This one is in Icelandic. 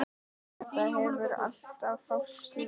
Þetta hefur alltaf fálki verið.